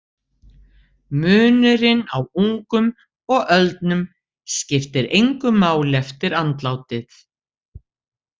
Munurinn á ungum og öldnum skiptir engu máli eftir andlátið.